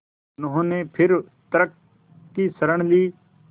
उन्होंने फिर तर्क की शरण ली